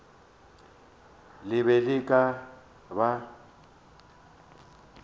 le be le ka ba